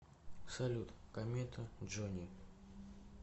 салют комета джони